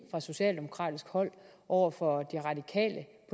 fra socialdemokratisk hold over for de radikale